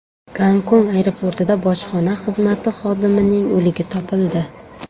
Gongkong aeroportida bojxona xizmati xodimining o‘ligi topildi.